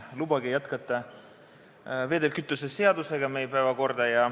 Lubage jätkata päevakorda vedelkütuse seadusega.